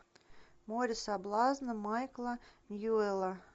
море соблазна майкла ньюэлла